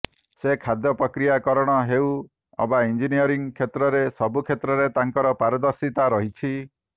ସେ ଖାଦ୍ୟ ପ୍ରକ୍ରିୟା କରଣ ହେଉ ଅବା ଇଂଜିନିୟରିଂ କ୍ଷେତ୍ରରେ ସବୁ କ୍ଷେତ୍ରରେ ତାଙ୍କର ପାରଦର୍ଶିତା ରହିଛି